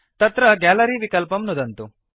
तत्र गैलरी विकल्पं नुदन्तु